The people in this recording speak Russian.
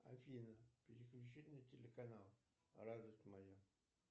афина переключи на телеканал радость моя